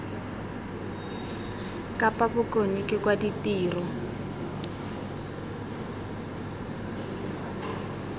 kapa bokone ke wa ditiro